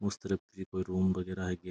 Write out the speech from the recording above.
उस तरफ की कोई रूम वगैरह --